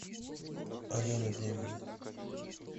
алена демина